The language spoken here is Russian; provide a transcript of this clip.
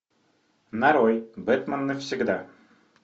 нарой бэтмен навсегда